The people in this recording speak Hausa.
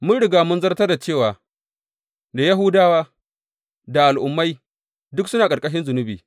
Mun riga mun zartar cewa da Yahudawa da Al’ummai duk suna a ƙarƙarshin zunubi.